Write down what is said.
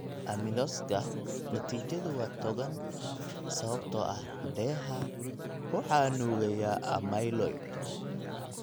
Amyloysgsa natiijadu waa togan sababtoo ah dheeha waxaa nuugaya amyloid.